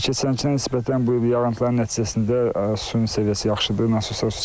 Hə keçənkiyə nisbətən bu il yağıntıların nəticəsində suyun səviyyəsi yaxşıdır.